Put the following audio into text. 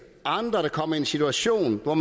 andre der kommer i en situation hvor